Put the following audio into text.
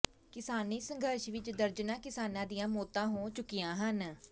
ਕਿਸਾਨੀ ਸੰਘਰਸ਼ ਵਿਚ ਦਰਜਨਾਂ ਕਿਸਾਨਾਂ ਦੀਆਂ ਮੌਤਾਂ ਹੋ ਚੁੱਕੀਆਂ ਹਨ